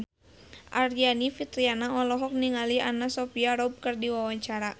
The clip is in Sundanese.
Aryani Fitriana olohok ningali Anna Sophia Robb keur diwawancara